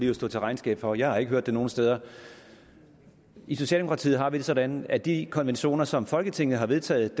jo stå til regnskab for jeg har ikke hørt det nogen steder i socialdemokratiet har vi det sådan at de konventioner som folketinget har vedtaget